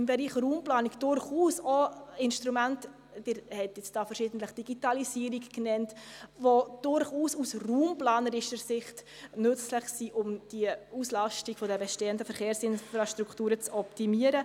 Im Bereich Raumplanung gibt es durchaus auch Instrumente – Sie haben verschiedentlich die Digitalisierung genannt –, die durchaus aus raumplanerischer Sicht nützlich sind, um die Auslastung der bestehenden Verkehr sinfrastrukturen zu optimieren.